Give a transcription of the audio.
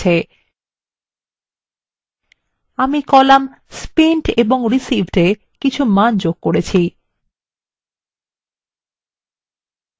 আমি column spent এবং receivedএ কিছু মান যোগ করেছি